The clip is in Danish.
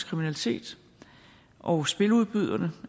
kriminalitet og spiludbyderne